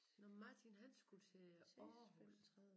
Nåh men Martin han skulle til Aarhus